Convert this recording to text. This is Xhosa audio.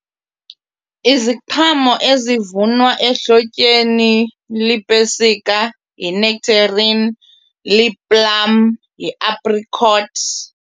Iziqhamo ezivunwa ehlotyeni lipesika, yi-nectarine, li-plum, yi-apricot.